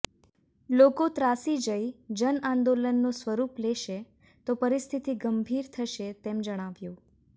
લોકો ત્રાસી જઈ જનઆંદોલનનું સ્વરૂપ લેશે તો પરિસ્થિતિ ગંભીર થશે તેમ જણાવ્યું